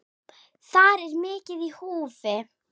Þar er mikið í húfi.